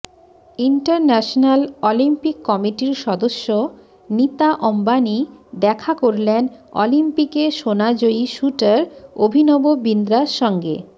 international Olympic কমিটির সদস্য নীতা অম্বানি দেখা করলেন অলিম্পিকে সোনাজয়ী শ্যুটার অভিনব বিন্দ্রার সঙ্গে